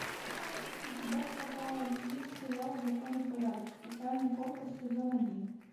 у тебя в каталоге есть сериал закон и порядок специальный корпус сезон один